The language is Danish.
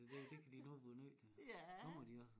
Det det det det kan de nu blive nødt til kommer de også